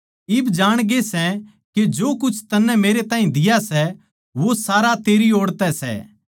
इब जाणगे सै के जो कुछ तन्नै मेरैताहीं दिया सै वो सारा तेरी ओड़ तै सै